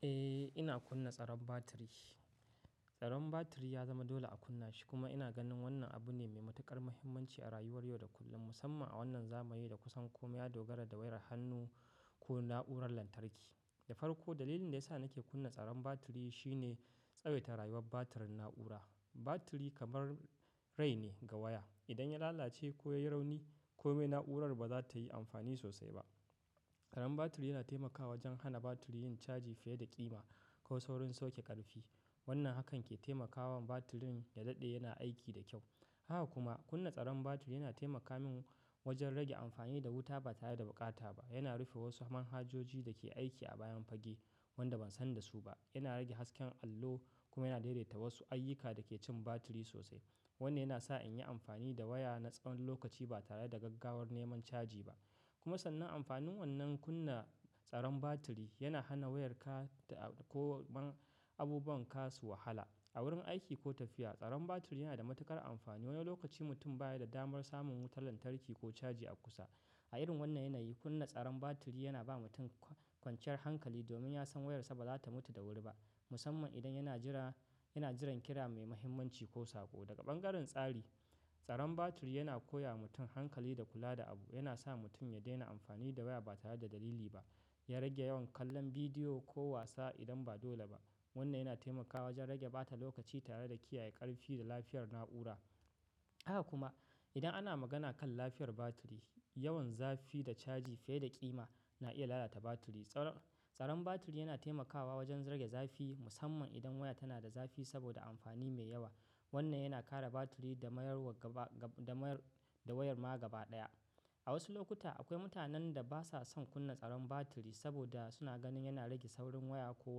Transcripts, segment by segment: Eh, ina kunna tsaron batiri. Tsaron batiri ya zama dole a kunna shi kuma ina ganin wannan abu ne mai matuƙar mahimmanci a rayuwar yau da kullum, musamman a wannan zamani da kusan komai ya dogara da wayar hannu ko na'urar lantarki. Da farko, dalilin da ya sa nake kunna tsaron batiri shine tsawaita rayuwar batirin na'ura. Batiri kamar, rai ne ga waya. Idan ya lalace ko ya yi rauni, komai na'urar ba za ta yi amfani sosai ba. Tsaron batiri yana taimakawa wajen hana batiri yin caji fiye da ƙima, ko saurin sauke ƙarfi. Wannan hakan ke taimakawa batirin, ya daɗe yana aiki da kyau. Haka kuma, kunna tsaron batiri yana taimaka min wajen rage amfani da wuta ba tare da buƙata ba. Yana rufe wasu manhajoji da ke aiki a bayan fage wanda ban san da su ba. Yana rage hasken allo kuma yana daidaita wasu ayyuka da ke cin batiri sosai. Wannan yana sa in yi amfani da waya na tsawon lokaci ba tare da gaggawar neman caji ba. Kuma sannan amfanin wannan kunna tsaron batiri, yana hana wayarka, da ko abubuwan ka su wahala. A wurin aiki ko tafiya, tsaron batiri yana da matuƙar amfani. Wani lokaci mutum baya da damar samun wutar lantarki ko caji a kusa. A irin wannan yanayi, kunna tsaron batiri yana ba mutum kwanciyar hankali, domin ya san wayarsa ba za ta mutu da wuri ba, musamman idan yana jiran, yana jiran kira mai mahimmanci ko saƙo. Daga ɓangaren tsari, tsaron batiri yana koya wa mutum hankali da kula da abu. Yana sa mutum ya daina amfani da waya ba tare da dalili ba. Ya rage yawan kallon bidiyo ko wasa idan ba dole ba. Wannan yana taimakawa wajen rage ɓata lokaci tare da kiyaye ƙarfi da lafiyar na'ura. Haka kuma, idan ana magana kan lafiyar batiri, yawan zafi da caji fiye da ƙima na iya lalata batiri. Tsaron batiri yana taimakawa wajen rage zafi musamman idan waya tana da zafi saboda amfani mai yawa. Wannan yana kare batiri da mayar wa gaba, da mayar, da wayar ma gaba ɗaya. A wasu lokuta, akwai mutanen da ba sa son kunna tsaron batiri, saboda suna ganin yana rage saurin waya ko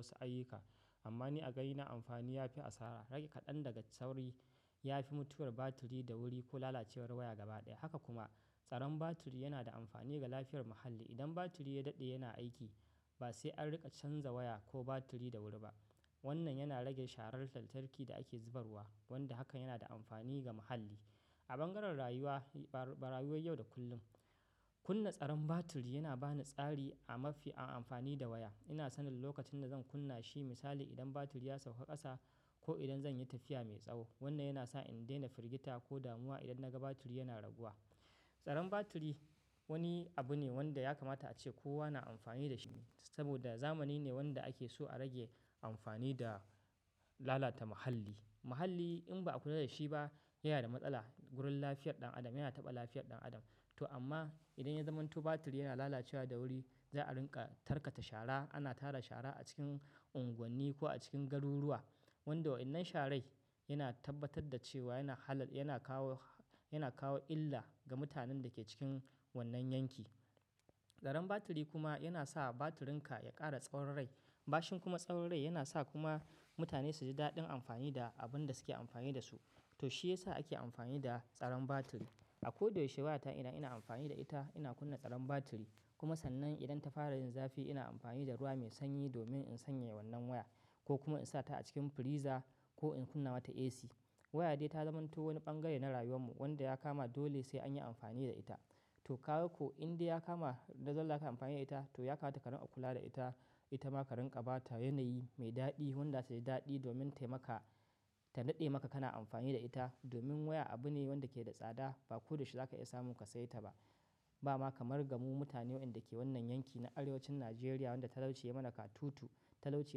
wasu ayyuka. Amma ni a gani na amfani ya fi asara. Rage kaɗan daga sauri, ya fi mutuwar batiri da wuri ko lalacewar waya gaba ɗaya. Haka kuma, tsaron batiri yana da amfani ga lafiyar muhalli, idan batiri ya daɗe yana aiki ba sai an riƙa canza waya ko batiri da wuri ba. Wannan yana rage sharar lantarki da ake zubarwa, wanda hakan yana da amfani ga muhalli. A bangaren rayuwa, ba, rayuwar yau da kullum, kunna tsaron batiri yana ba ni tsari a mafi amfani da waya. Ina sanin lokacin da zan kunna shi, misali idan batiri ya sauka ƙasa, ko idan zan yi tafiya mai tsawo. Wannan yana sa in daina firgita ko damuwa idan na ga batiri yana raguwa. Tsaron batiri, wani abu ne wanda ya kamata ace kowa na amfani da shi, saboda zamani ne wanda ake so a rage amfani da lalata muhalli. Muhalli, in ba'a kula da shi ba yana da matsala, gurin lafiyar ɗan Adam, yana taɓa lafiyar ɗan Adam. To amma idan ya zamanto batiri yana lalacewa da wuri, za a rinƙa tarkata shara, ana tara shara a cikin unguwanni ko a cikin garuruwa, wanda wa'innan sharai, yana tabbatar da cewa yana halal, yana kawo, yana kawo illa ga mutanen da ke cikin wannan yanki. Tsaron batiri kuma yana sa batirinka ya ƙara tsawon rai. Bashin kuma tsawon rai yana sa kuma mutane su ji daɗin amfani da abun da suke amfani da su. To shi ya sa ake amfani da tsaron batiri. A ko da yaushe wayata idan ina amfani da ita, ina kunna tsaron batiri. Kuma sannan idan ta fara yin zafi ina amfani da ruwa mai sanyi domin in sanyaya wannan waya, ko kuma in sa ta a cikin friza ko in kunna mata AC. Waya dai ta zamanto wani bangare na rayuwar mu wanda ya kama dole sai an yi amfani da ita. To kaga ko in dai ya kama, dole za kayi amfani da ita, to ya kamata ka rinƙa kula da ita, Ita ma ka rinƙa ba ta yanayi mai daɗi, wanda zata ji daɗi domin ta yi maka, ta daɗe maka kana amfani da ita, domin waya abu ne wanda ke da tsada, ba ko da yaushe za ka iya samun ka saye ta ba. Ba ma kamar ga mu mutane waɗanda ke wannan yanki na arewacin Najeriya wanda talauci ya mana ka tutu. Talauci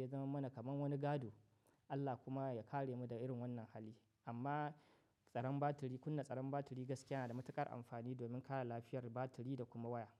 ya zaman mana kamar wani gado. Allah kuma ya kare mu daga irin wannan hali. Amma tsaron batiri, kunna tsaron batiri gaskiya yana da matuƙar amfani domin kare lafiyar batiri da kuma waya.